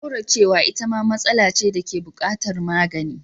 Kauracewa itama matsala ce dake bukatar magani.